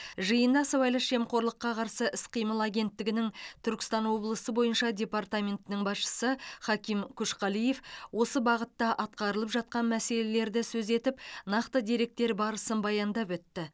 жиында сыбайлас жемқорлыққа қарсы іс қимыл агенттігінің түркістан облысы бойынша департаментінің басшысы хаким көшқалиев осы бағытта атқарылып жатқан мәселелерді сөз етіп нақты деректер барысын баяндап өтті